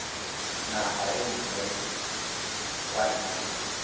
naga e nngwe kwa ntle